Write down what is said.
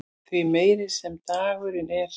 því meiri sem draginn er